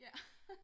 ja